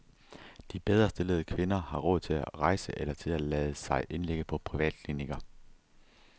De bedrestillede kvinder har råd til at rejse eller til at lade sig indlægge på privatklinikker.